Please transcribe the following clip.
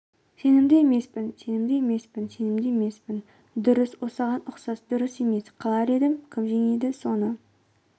сенімді емеспін сенімді емеспін сенімді емеспін дұрыс осыған ұқсас дұрыс емес қалар едім кім жеңеді соны